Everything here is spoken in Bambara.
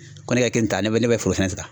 Ko ne ka kelen ta ne bɛ ne bɛ foro sɛnɛ ta.